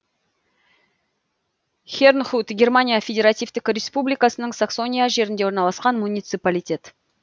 хернхут германия федеративтік республикасының саксония жерінде орналасқан муниципалитет